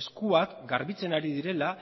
eskuak garbitzen ari direla